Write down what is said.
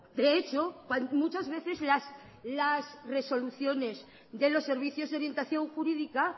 de hecho muchas veces las resoluciones de los servicios de orientación jurídica